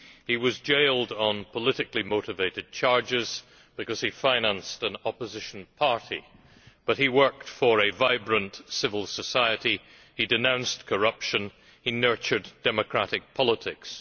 He was jailed on politically motivated charges because he financed an opposition party. But he worked for a vibrant civil society, he denounced corruption, and he nurtured democratic politics.